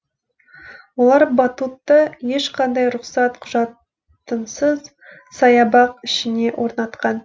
олар батутты ешқандай рұқсат құжатынсыз саябақ ішіне орнатқан